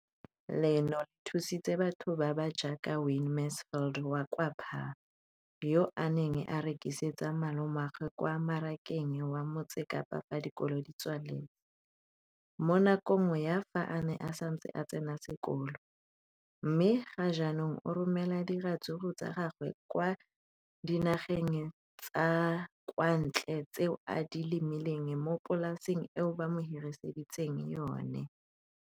leno le thusitse batho ba ba jaaka Wayne Mansfield, 33, wa kwa Paarl, yo a neng a rekisetsa malomagwe kwa Marakeng wa Motsekapa fa dikolo di tswaletse, mo nakong ya fa a ne a santse a tsena sekolo, mme ga jaanong o romela diratsuru tsa gagwe kwa dinageng tsa kwa ntle tseo a di lemileng mo polaseng eo ba mo hiriseditseng yona.